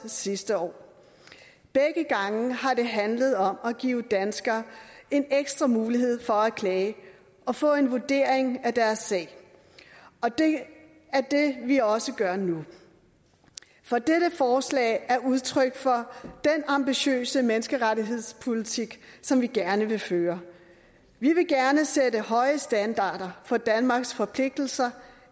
sidste år begge gange har det handlet om at give danskere en ekstra mulighed for at klage og få en vurdering af deres sag og det er også gør nu for dette forslag er udtryk for den ambitiøse menneskerettighedspolitik som vi gerne vil føre vi vil gerne sætte høje standarder for danmarks forpligtelser